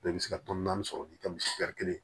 i bɛ se ka tɔni naani sɔrɔ n'i ka misiya kelen